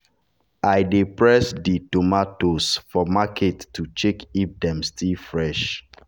i dey press di tomatoes for market to check if dem still fresh.